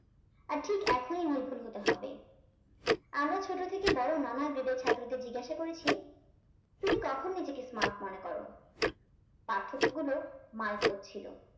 আর ঠিক এখনই নির্ভুল হতে হবে আমরা ছোট থেকে বড় নানা grade এর ছাত্রদের জিজ্ঞাসা করেছি তুমি কখন নিজেকে smart মনে কর? পার্থক্যগুলো মারাত্মক ছিল।